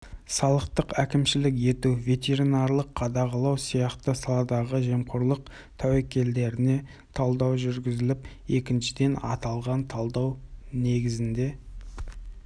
салықтық әкімшілік ету ветеринарлық қадағалау сияқты саладағы жемқорлық тәуекелдеріне талдау жүргізіліп екіншіден аталған талдау негізінде